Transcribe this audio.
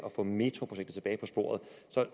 at få metroprojektet tilbage på sporet